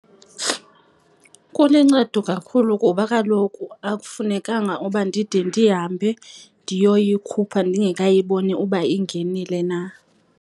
Kulincedo kakhulu, kuba kaloku akufunekanga uba ndide ndihambe ndiyoyikhupha ndingekayiboni uba ingenile na.